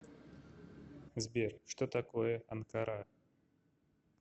сбер что такое анкара